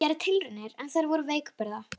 Ég gerði tilraunir en þær voru veikburða.